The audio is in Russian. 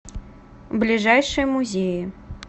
ближайшие музеи